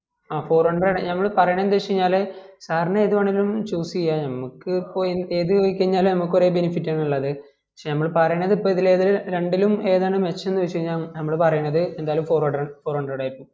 ഹ four hundred ആണ് നമ്മള് പറയുന്നേ എന്ത് വെച്ചാല് sir ന് ഏത് വേണേലും choose ചെയാം നമക്ക് ഇപ്പോ ഏത് പൊയ്‌കയിഞ്ഞാലും നമുക് ഒരേ benefit ആണ് ഉള്ളത് പക്ഷെ നമ്മള് പറയണന്ത് ഇപ്പൊ ഇതിൽ ഏത് രണ്ടിലും ഏതാണ് മെച്ചമന്ന് ചോയ്ച കയിഞ്ഞാൽ നമ്മള് പറീണത് എന്തായാലും four hundred four hundred ആയിരിക്കും